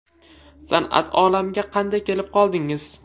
San’at olamiga qanday kelib qoldingiz?